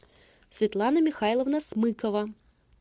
светлана михайловна смыкова